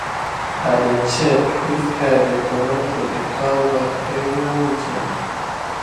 i dey check if hair dey commot for the cow back every weekend